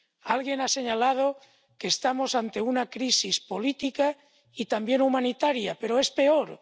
Alguien ha señalado que estamos ante una crisis política y también humanitaria, pero es peor.